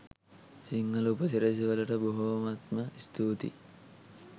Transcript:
සිංහල උපසිරැසි වලට බොහොමත්ම ස්තූතියි